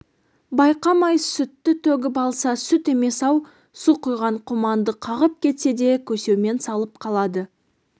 байқамай сүтті төгіп алса сүт емес-ау су құйған құманды қағып кетсе де көсеумен салып қалады